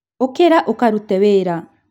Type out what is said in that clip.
ũkĩra ũkarute wĩra